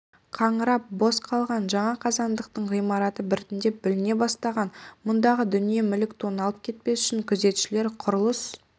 қаңырап бос қалған жаңа қазандықтың ғимараты біртіндеп бүліне басталған мұндағы дүние-мүлік тоналып кетпес үшін күзетшілер құрылыс